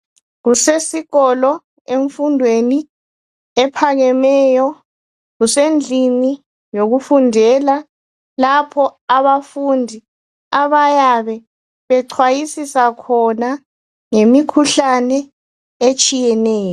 Kusesikolo emfundweni ephakemeyo, kusendlini yokufundela. Lapho abafundi abayabe bechwayisisa khona ngemikhuhlane etshiyeneyo.